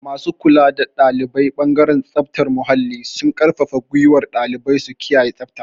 Masu kula da ɗalibai ɓangaren tsaftar muhalli suna ƙarfafa ƙungiyar ɗalibai su kiyaye tsabta.